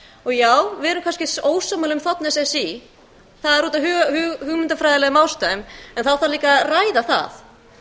það erfitt og já við erum kannski ósammála um þ s s í það er út af hugmyndafræðilegum ástæðum en þá þarf líka að ræða það